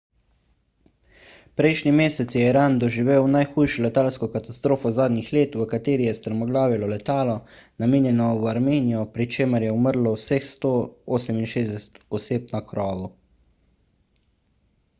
prejšnji mesec je iran doživel najhujšo letalsko katastrofo zadnjih let v kateri je strmoglavilo letalo namenjeno v armenijo pri čemer je umrlo vseh 168 oseb na krovu